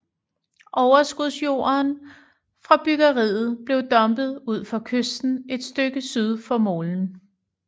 Overskudsjorden fra byggeriet blev dumpet ud for kysten et stykke syd for molen